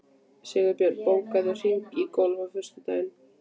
Sigbjörn, bókaðu hring í golf á föstudaginn.